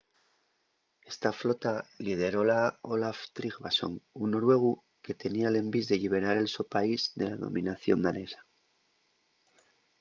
esta flota lideróla olaf trygvasson un noruegu que tenía l'envís de lliberar el so país de la dominación danesa